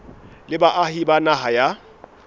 le baahi ba naha ya